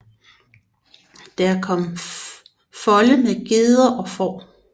Der kom folde med geder og får